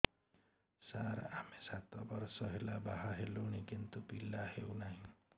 ସାର ଆମେ ସାତ ବର୍ଷ ହେଲା ବାହା ହେଲୁଣି କିନ୍ତୁ ପିଲା ହେଉନାହିଁ